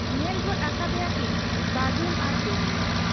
ᱧᱮᱞ ᱜᱚᱫ ᱟᱠᱟᱫ ᱮᱭᱟᱠᱤᱱ ᱵᱟᱹᱡᱩᱱ ᱟᱨ ᱰᱩᱢᱱᱤ ᱾